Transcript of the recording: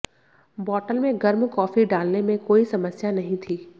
बोतल में गर्म कॉफी डालने में कोई समस्या नहीं थी